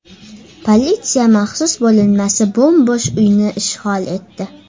Politsiya maxsus bo‘linmasi bo‘m-bo‘sh uyni ishg‘ol etdi.